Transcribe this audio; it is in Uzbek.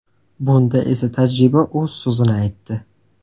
Bunda esa, tajriba o‘z so‘zini aytdi.